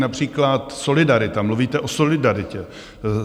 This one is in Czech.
Například solidarita, mluvíte o solidaritě.